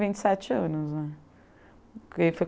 vinte e sete anos, né. Porque foi